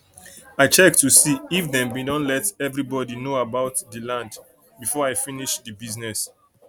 i check to see if dem bin don let everi body know about dey land before i finis dey bisness